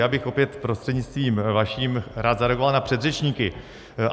Já bych opět prostřednictvím vaším rád zareagoval na předřečníky.